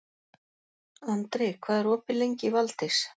Andri, hvað er opið lengi í Valdís?